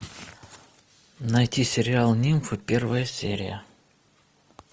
найти сериал нимфы первая серия